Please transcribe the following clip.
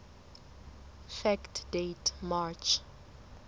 fact date march